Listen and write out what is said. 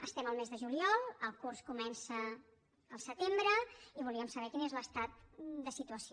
estem al mes de juliol el curs comença al setembre i volíem saber quin és l’estat de situació